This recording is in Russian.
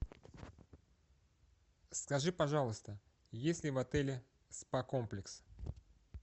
скажи пожалуйста есть ли в отеле спа комплекс